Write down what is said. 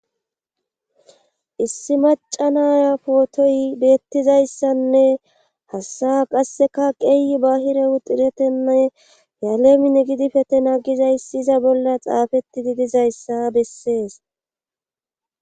issi maca naya pootoy beettizayssanne hassaa qasseka qeeyi bahire hudiretenne yaleemin gidipete nagizayssi iza bolla xaafetti didizayssa bessees